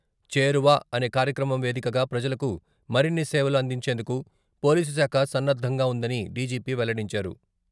"చేరువ" అనే కార్యక్రమం వేదికగా ప్రజలకు మరిన్ని సేవలు అందించేందుకు పోలీసుశాఖ సన్నద్ధంగా ఉందని డీజీపీ వెల్లడించారు.